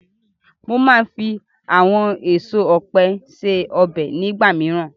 Mo máa ń fi àwọn èso ọ̀pẹ ṣe ọbẹ̀ nígbà míràn.